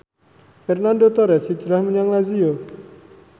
Fernando Torres hijrah menyang Lazio